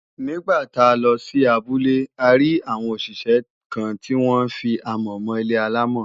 Nígbà tá a lọ sí abúlé a rí àwọn òṣìṣẹ́ kan tí wọ́n fi amọ̀ mọ ilé-àlámọ̀